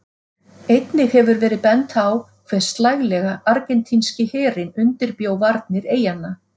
Einnig hefur verið bent á hve slælega Argentínski herinn undirbjó varnir eyjanna.